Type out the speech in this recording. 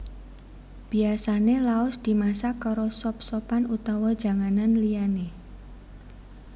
Biyasané laos dimasak karo sop sopan utawa janganan liyané